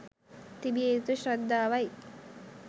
තිබිය යුතු ශ්‍රද්ධාවයි.